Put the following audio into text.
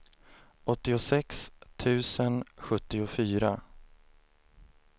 åttiosex tusen sjuttiofyra